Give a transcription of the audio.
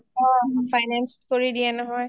অ অ finance কৰি দিয়ে নহয়